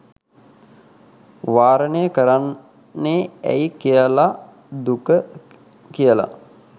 වාරණය කරන්නෙ ඇයි කියලා දුක කියලා